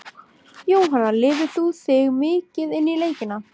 Jóhanna: Lifir þú þig mikið inn í leikina?